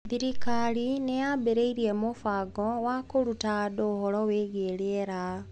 Thirikari nĩ yaambĩrĩirie mũbango wa kũruta andũ ũhoro wĩgiĩ rĩera.